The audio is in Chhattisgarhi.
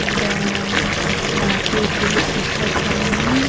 एकदम नाची उची के सिखत होई।